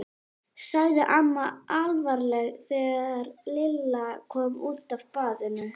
sagði amma alvarleg þegar Lilla kom út af baðinu.